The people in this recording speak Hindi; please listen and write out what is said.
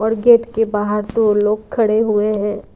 और गेट के बाहर दो लोग खड़े हुए हैं।